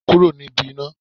Kúrò níbi iná.